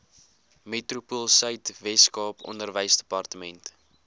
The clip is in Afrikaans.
metropoolsuid weskaap onderwysdepartement